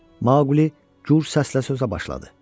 Maqli gur səslə sözə başladı.